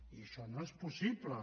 i això no és possible